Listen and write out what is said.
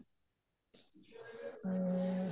ਹਮ